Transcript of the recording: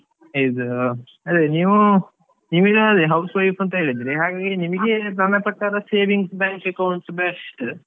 ಇದೂ ಅದೇ ನೀವೂ ನೀವ್ ಇವಾಗ housewife ಹೇಳಿದ್ರಿ ಹಾಗಾಗಿ ನಿಮಗೆ ನನ್ನ ಪ್ರಕಾರ savings bank account best .